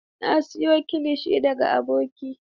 Na siyo kilishi daga aboki.